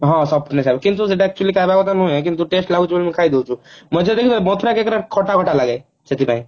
ହଁ କିନ୍ତୁ ସେଟା ଖାଇବା କଥା ନୁହେଁ କିନ୍ତୁ test ଲାଗୁଛି ବୋଲି ଖାଇଦଉଛୁ ମଥୁରା cake ଟା ଖଟା ଖଟା ଲାଗେ ସେଥିପାଇଁ